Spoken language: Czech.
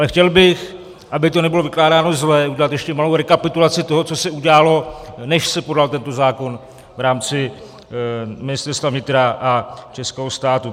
Ale chtěl bych, aby to nebylo vykládáno zle, udělat ještě malou rekapitulaci toho, co se udělalo, než se podal tento zákon, v rámci Ministerstva vnitra a českého státu.